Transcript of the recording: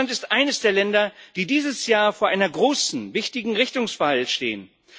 Deutschland ist eines der Länder, die dieses Jahr vor einer großen, wichtigen Richtungswahl stehen.